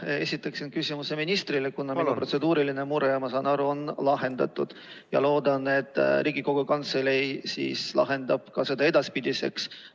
Ma esitaksin küsimuse ministrile, kuna minu protseduuriline mure, ma saan aru, on lahendatud ja loodan, et Riigikogu Kantselei lahendab selle ka edaspidiseks.